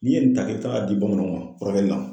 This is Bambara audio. N'i ye nin ta k'i bɛ taga di bamananw ma furakɛli la.